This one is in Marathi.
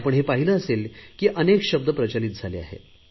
आपण हे पाहिले असेल की अनेक शब्द प्रचलित झाले आहेत